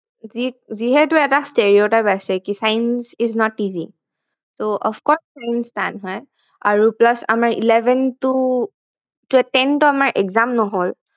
যিহেতু এটা steriotype আছে কি science is not easy আৰু of course science টান হয় আৰু plus আমাৰ eleven টো কিয় tenth ত আমাৰ exam নহল